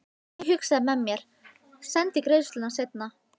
Ég hugsaði með mér: Sendi greiðsluna seinna.